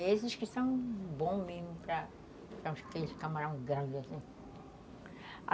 Esses que são bons mesmo para, aqueles camarão grande, assim.